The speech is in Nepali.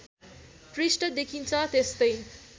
पृष्ठ देखिन्छ त्यस्तै